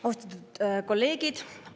Austatud kolleegid!